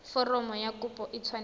foromo ya kopo e tshwanetse